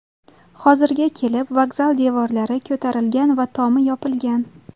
Hozirga kelib vokzal devorlari ko‘tarilgan va tomi yopilgan.